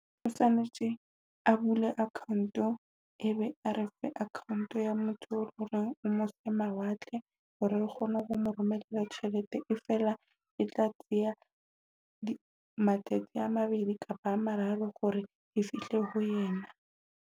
O tshwanetse a bule account e be a re fe account ya motho o mose mawatle. Hore re kgone ho mo romela tjhelete e fela e tla tseya matsatsi a mabedi kapa a mararo hore e fihle ho yena.